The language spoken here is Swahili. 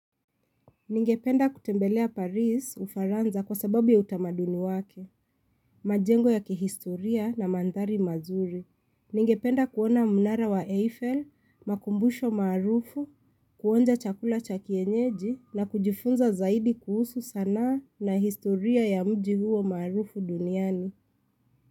Ningependa kutembelea Paris ufaranza kwa sababu ya utamaduni wake, majengo ya kihistoria na mandhari mazuri. Ningependa kuona mnara wa Eiffel, makumbusho maarufu, kuonja chakula chakienyeji na kujifunza zaidi kuhusu sanaa na historia ya mji huo maarufu duniani.